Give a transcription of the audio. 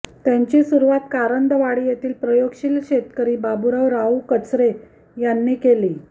त्यांची सुरूवात कारंदवाडी येथील प्रयोगशील शेतकरी बाबूराव राऊ कचरे यांनी केली